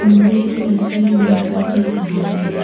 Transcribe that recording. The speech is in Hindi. मुझे इस तस्वीर में घर दिख रहा है।